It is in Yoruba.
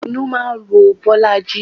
Inú máa ń ro Bolaji